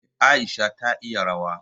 Eh, Aisha ta iya rawa.